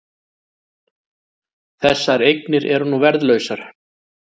Þessar eignir eru nú verðlausar